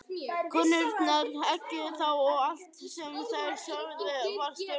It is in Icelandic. Konurnar eggjuðu þá og allt sem þær sögðu var stuðlað.